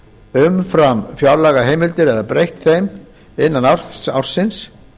umfram fjárlagaheimildir eða breytt þeim innan ársins